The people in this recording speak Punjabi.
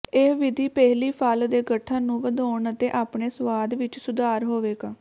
ਇਹ ਵਿਧੀ ਪਹਿਲੀ ਫਲ ਦੇ ਗਠਨ ਨੂੰ ਵਧਾਉਣ ਅਤੇ ਆਪਣੇ ਸੁਆਦ ਵਿੱਚ ਸੁਧਾਰ ਹੋਵੇਗਾ